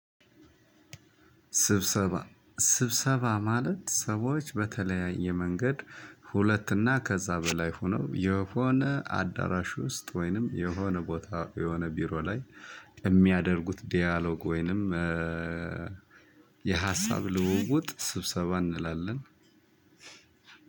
ስብሰባ ስብሰባ ማለት ሰዎች በተለያየ መንገድ ሁለት እና ከዛ በላይ ሁነው የሆነ አዳራሽ ውስጥ ወይንም የሆነ ቦታ የሆነ ቢሮ ላይ የሚያደርጉት ዲያሎግ ወይንም የሀሳብ ልውውጥ ስብሰባ እንላለን።